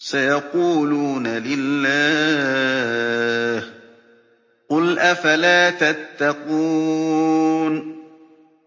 سَيَقُولُونَ لِلَّهِ ۚ قُلْ أَفَلَا تَتَّقُونَ